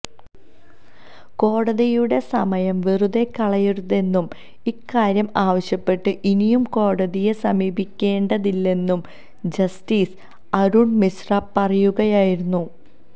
കോടതിയുടെ സമയം വെറുതേ കളയരുതെന്നും ഇക്കാര്യം ആവശ്യപ്പെട്ട് ഇനിയും കോടതിയെ സമീപിക്കേണ്ടതില്ലെന്നും ജസ്റ്റിസ് അരുണ് മിശ്ര പറയുകയായിരുന്നു